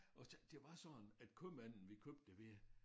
Og det var sådan at købmanden vi købte det ved